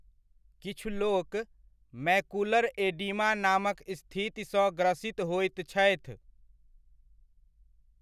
किछु लोक macular edema नामक स्थिति सँ ग्रसित होइत छथि।